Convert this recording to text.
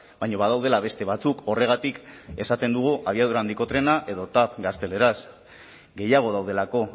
baina badaudela beste batzuk horregatik esaten dugu abiadura handiko trena edo tav gazteleraz gehiago daudelako